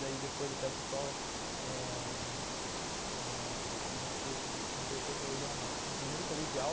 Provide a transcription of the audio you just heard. Daí depois até o pessoal eh no no terceiro colegial, não, no primeiro colegial,